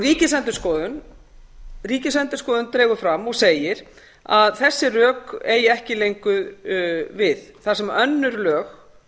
afskiptum ríkisendurskoðun dregur fram og segir að þessi rök eigi ekki lengur við þar sem önnur lög